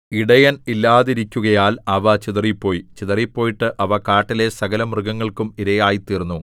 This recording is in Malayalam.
ഇടയൻ ഇല്ലാതിരിക്കുകയാൽ അവ ചിതറിപ്പോയി ചിതറിപ്പോയിട്ട് അവ കാട്ടിലെ സകലമൃഗങ്ങൾക്കും ഇരയായിത്തീർന്നു